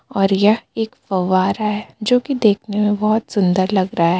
और यह एक फंवारा है जो की देखने में बहुत सुंदर लग रहा है.